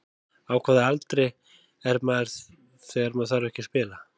Á hvaða aldri er maður þegar maður þarf ekki að spila?